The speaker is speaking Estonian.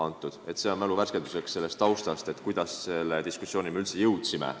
See oli öeldud mälu värskenduseks selle tausta kohta, kuidas me selle diskussioonini üldse jõudsime.